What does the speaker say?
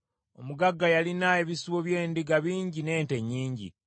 Omugagga yalina ebisibo by’endiga bingi n’ente nnyingi;